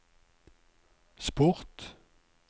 sport